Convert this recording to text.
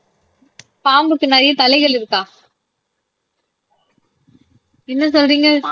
பாம்புக்கு நிறைய தலைகள் இருக்கா என்ன சொல்றீங்க